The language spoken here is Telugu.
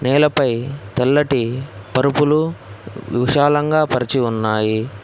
నేలపై తెల్లటి పరుపులు విశాలంగా పరిచి ఉన్నాయి.